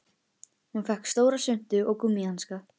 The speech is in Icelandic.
Hún fékk stóra svuntu og gúmmíhanska.